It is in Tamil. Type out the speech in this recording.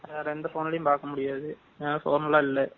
வேற எந்த phone லையும் பாக்கமுடியாது.வேற எந்த phone னும் இல்ல.